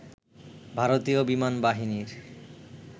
ভারতীয় বিমান বাহিনীর